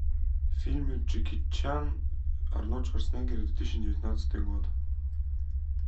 фильмы джеки чан арнольд шварценеггер две тысячи девятнадцатый год